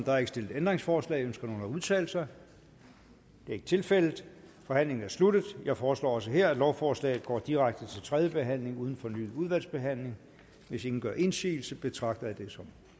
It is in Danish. er ikke stillet ændringsforslag ønsker nogen at udtale sig det er ikke tilfældet forhandlingen er sluttet jeg foreslår også her at lovforslaget går direkte til tredje behandling uden fornyet udvalgsbehandling hvis ingen gør indsigelse betragter jeg det som